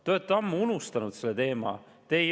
Te olete ammu unustanud selle teema.